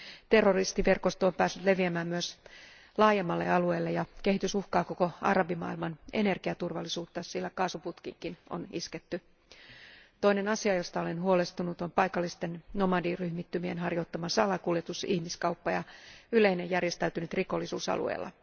Terroristiverkosto on päässyt leviämään myös laajemmalle alueelle ja kehitys uhkaa koko arabimaailman energiaturvallisuutta, sillä kaasuputkiinkin on isketty. Toinen asia, josta olen huolestunut, on paikallisten nomadiryhmittymien harjoittama salakuljetus, ihmiskauppa ja yleinen järjestäytynyt rikollisuus alueella.